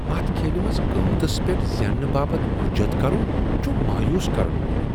اتھ کھیلہ منز قیمتس پیٹھ زینہ باپت حُجت کرُن چھ مایوس کرن وول۔